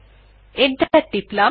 enter টিপলাম